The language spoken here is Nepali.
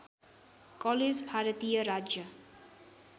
कलेज भारतीय राज्य